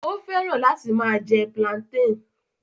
Ó fẹ́ràn láti máa jẹ plantain